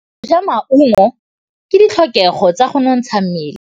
Go ja maungo ke ditlhokegô tsa go nontsha mmele.